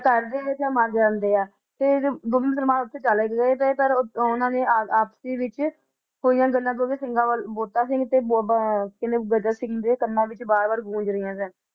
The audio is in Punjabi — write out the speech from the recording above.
ਘਰ ਵਿਚ ਆ ਜਾਂਦੇ ਤੇ ਮੁਸਲਮਾਨਾਂ ਵਿੱਚ ਹੋਈਆ ਗੱਲਾ ਬਾਬਾ ਬੰਤਾ ਤੇ ਬਾਬਾ ਗਰਜਾ ਸਿੰਘ ਦੇ ਕੰਨ ਵਿੱਚ ਵਾਰ ਵਾਰ ਗੂੰਜ ਰਹੀਆ ਸਨ